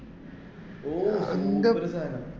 ഓ അങ്ങനത്തെ ഒരു സാദനം